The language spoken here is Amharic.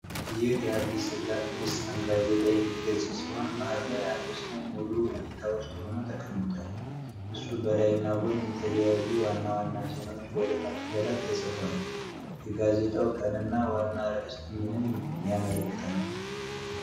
ይህ የአዲስ ልሳን ጋዜጣ የፊት ገጽ ሲሆን፣ መሃል ላይ አንድ ሰው ሙሉ እይታ ውስጥ ሆኖ ተቀምጧል። ከሱ በላይና ጎን የተለያዩ ዋና ዋና ዜናዎች በደማቅ ፊደላት ተጽፈዋል። የጋዜጣው ቀን እና ዋናው አርዕስት ምንን ያመለክታሉ?